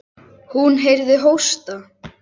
Hún heyrði hósta.